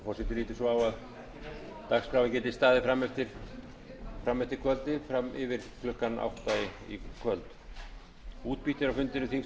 svo á að dagskráin geti staðið fram eftir kvöldi fram yfir klukkan átta í kvöld